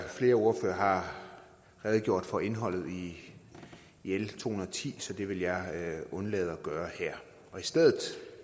flere ordførere har redegjort for indholdet i l to hundrede og ti så det vil jeg undlade at gøre her og i stedet